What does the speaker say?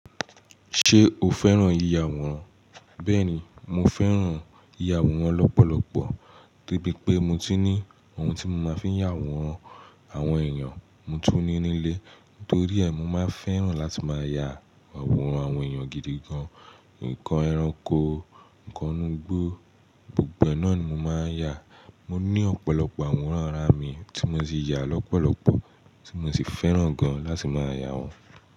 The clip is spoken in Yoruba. Ṣé o fẹ́ràn ìyàwòrán? Bẹ́ẹ̀ni, mo fẹ́ràn ìyàwòrán lọ́pọ̀lọpọ̀, de bí pé mo tun ní ohun tí mo máa fi ń yàwòrán àwọn èèyàn, mo tún ní nílé. Nítorí ẹ, mo máa ń fẹ́ràn láti máa ya àwòrán àwọn èèyàn gidi gan. Ǹnkan ẹranko, ǹnkan inu igbo gbogbo ẹ náà ni mo máa ń yà. Mọ ní ọ̀pọ̀lọpọ̀ àwòrán ara mi tí mo ti yà lọ́pọ̀lọpọ̀, tí mo sì fẹ́ràn gan láti máa yà wọ́n.